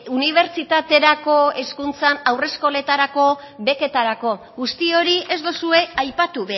unibertsitaterako hezkuntzan haur eskoletarako beketarako guzti hori ez duzue aipatu